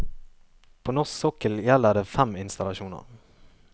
På norsk sokkel gjelder det fem installasjoner.